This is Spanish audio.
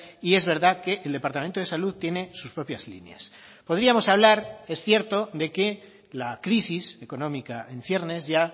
y es verdad que el departamento de salud tiene sus propias líneas podríamos hablar es cierto de que la crisis económica en ciernes ya